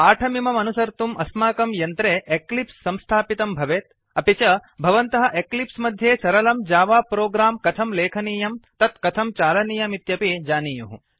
पाठमिममनुसर्तुम् अस्माकं यन्त्रे एक्लिप्स् संस्थापितं भवेत् अपि च भवन्तः एक्लिप्स् मध्ये सरलं जावा प्रोग्राम् कथं लेखनीयं तत्कथं चालनीयमित्यपि जानीयुः